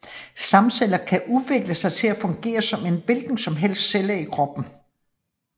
Stamcellerne kan udvikle sig til at fungere som en hvilken som helst celle i kroppen